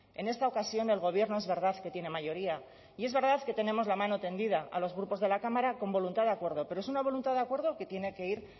en esta ocasión el gobierno es verdad que tiene mayoría y es verdad que tenemos la mano tendida a los grupos de la cámara con voluntad de acuerdo pero es una voluntad de acuerdo que tiene que ir